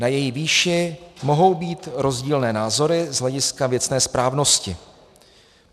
Na její výši mohou být rozdílné názory z hlediska věcné správnosti.